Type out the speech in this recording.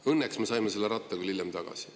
Õnneks me saime selle ratta küll hiljem tagasi.